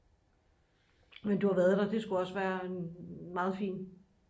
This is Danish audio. men du har været der det skulle også være en meget fin